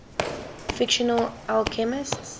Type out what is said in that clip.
fictional alchemists